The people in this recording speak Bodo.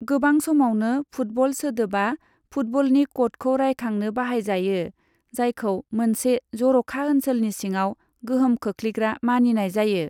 गोबां समावनो, 'फुटबल' सोदोबा फुटबलनि क'डखौ रायखांनो बाहायजायो, जायखौ मोनसे जर'खा ओनसोलनि सिङाव गोहोम खोख्लैग्रा मानिनाय जायो।